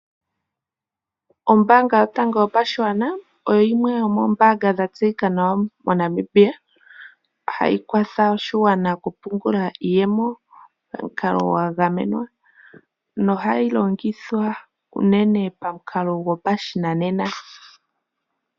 Ombaanga yotango yopashigwana oyo yimwe yomoombaanga dha tseyika nawa moNamibia hayi kwatha oshiwana okupungula iyemo nohayilongitha okupungula pamukalo wopashinanena